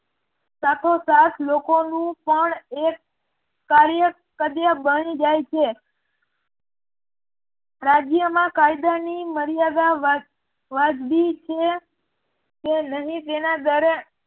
સાથો સાથ લોકોનું પણ એક કાર્ય કડ્ય બની જાય છે રાજ્યમાં કાયદાની મર્યાદા વ્યાજબી છે કે નહિ તેના દરે